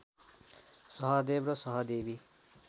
सहदेव र सहदेवी